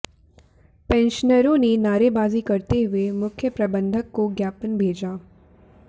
पेंशनरों ने नारेबाजी करते हुए मुख्य प्रबंधक को ज्ञापन भेजा